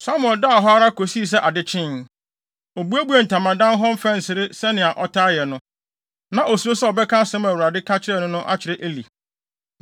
Samuel daa hɔ ara kosii sɛ ade kyee. Obuebuee ntamadan hɔ mfɛnsere sɛnea ɔtaa yɛ no. Na osuro sɛ ɔbɛka asɛm a Awurade ka kyerɛɛ no no akyerɛ Eli.